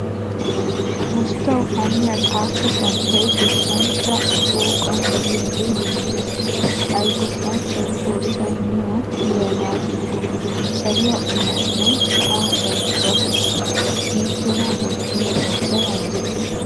Usttawu haaniyaa xatta santtay goshshanchcha shooqan de'iyage beettees. Hay goshshanchchawu xoossay niyo yiyaba digo. Saluwaa iranne sa'aa carkkuwaa loytto. Inttena wottida xoossay anjjetto.